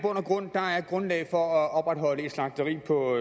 grundlag for at opretholde et slagteri på